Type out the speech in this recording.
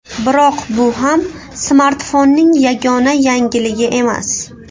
Biroq bu ham smartfonning yagona yangiligi emas.